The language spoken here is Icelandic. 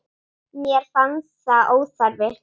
Mér fannst það óþarfi.